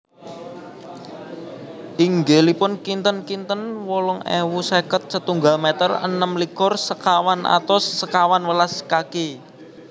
Inggilipun kinten kinten wolung ewu seket setunggal meter enem likur sekawan atus sekawan welas kaki